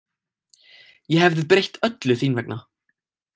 Ég hefði breytt öllu þín vegna.